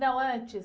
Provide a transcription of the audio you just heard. Não, antes.